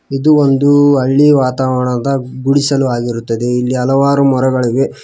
ಇದು ಒಂದು ಹಳ್ಳಿ ವಾತಾವರಣದ ಗುಡಿಸಲು ಆಗಿರುತ್ತದೆ ಇಲ್ಲಿ ಹಲವಾರು ಮರಗಳಿವೆ.